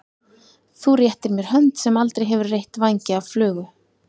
Þú réttir mér hönd sem aldrei hefur reytt vængi af flugu.